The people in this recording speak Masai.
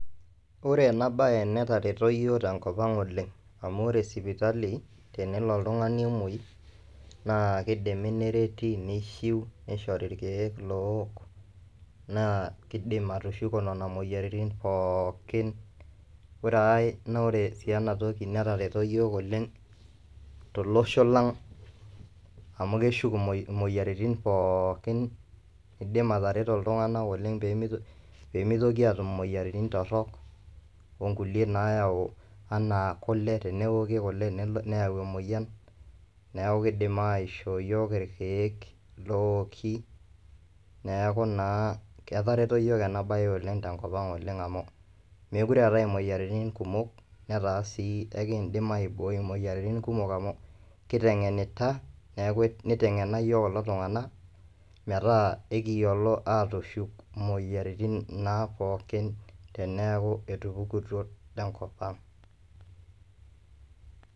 oree ena baye netareto iyiok tenkop ang' oleng' amu ore sipitali tenelo oltung'ani emoi naa keidimi nereti nishiu neishori irkiek loowok naa keidim atushuko nena moyiaritini pookin oree aaey naa ore sii ena toki netareto iyiok oleng' tolosho lang' amu keshuk imoyiaritin pookin eidim atareto iltung'anak oleng' pemeitoki aatum imoyiaritin torrok oo nkulie naayau ena kule tenewoki kule neyau emoyian neeku keidim ishoo iyiok irkiek loowoki neeku na ketareto iyiok ena baye oleng' tenkop ang' oleng' amu meekure eetae imoyiaritin kumok netaa sii ekiindim aibooi imoyiaritin kumok amu kiteng'enita neeku neiteng'ena iyook kulo tung'anak meeta ekiyiolo aatushuk imoyiaritin naa pookin teneyaku etupukutuo tenkop ang'.